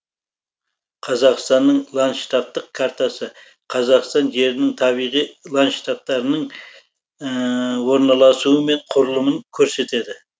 қазақстанның ландштафтық картасы қазақстан жерінің табиғи ландштафтарының орналасуы мен құрылымын көрсетеді